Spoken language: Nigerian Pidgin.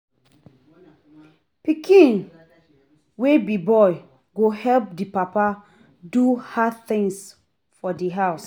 Pikin wey be boy go help di papa do hard tins for di house